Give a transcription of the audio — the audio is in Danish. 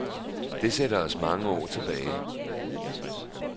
Det sætter os mange år tilbage.